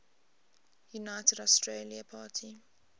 united australia party